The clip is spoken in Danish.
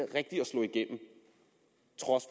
trods